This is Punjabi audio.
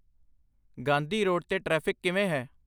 ਗਾਂਧੀ ਰੋਡ 'ਤੇ ਟ੍ਰੈਫਿਕ ਕਿਵੇਂ ਹੈ?